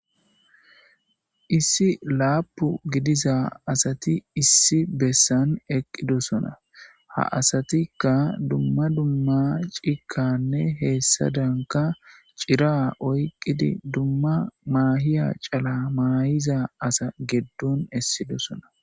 Issi laapu gidiza asati issi bessan eqqidosona ha asatikka dumma dumma cikanne heessa danka cira oyqqidi dumma maahiya cala maayiza asa geddon essidosona